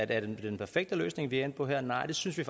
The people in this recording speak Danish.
det er den perfekte løsning vi er endt på her nej det synes vi